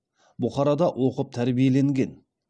бұхарада оқып тәрбиеленген